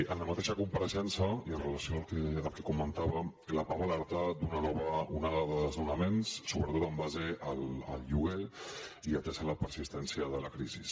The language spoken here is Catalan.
en la mateixa compareixença i amb relació al que comentàvem la pah va alertar d’una nova onada de desnonaments sobretot en base al lloguer i atesa la persistència de la crisi